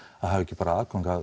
að hafa ekki bara aðgang að